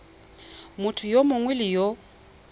motho yo mongwe le yo